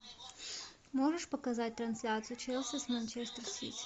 можешь показать трансляцию челси с манчестер сити